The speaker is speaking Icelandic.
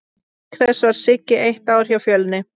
Auk þess var Siggi eitt ár hjá Fjölni.